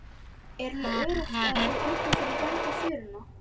Höskuldur: Er alveg öruggt þá fyrir íbúa að ganga fjöruna?